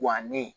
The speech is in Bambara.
Wa ne